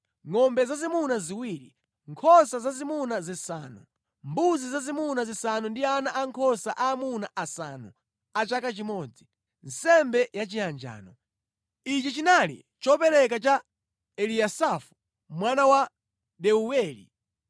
ngʼombe zazimuna ziwiri, nkhosa zazimuna zisanu, mbuzi zazimuna zisanu ndi ana ankhosa aamuna asanu a chaka chimodzi, nsembe yachiyanjano. Ichi chinali chopereka cha Eliyasafu mwana wa Deuweli.